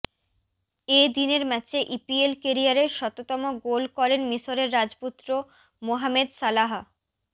এ দিনের ম্যাচে ইপিএল কেরিয়ারের শততম গোল করেন মিশরের রাজপুত্র মোহামেদ সালাহ